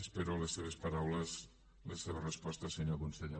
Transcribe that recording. espero les seves paraules les seves respostes senyor conseller